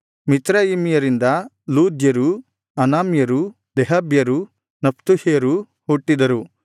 ಮಿಚ್ರಯಿಮ್ಯರಿಂದ ಲೂದ್ಯರು ಅನಾಮ್ಯರು ಲೆಹಾಬ್ಯರು ನಫ್ತುಹ್ಯರು ಹುಟ್ಟಿದರು